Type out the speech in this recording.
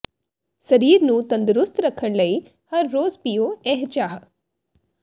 ਸਰੀਰ ਨੂੰ ਤੰਦਰੁਸਤ ਰੱਖਣ ਲਈ ਹਰ ਰੋਜ਼ ਪੀਓ ਇਹ ਚਾਹ